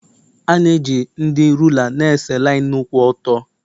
A na-eji ndị rula na-ese linu kwụ ọtọ.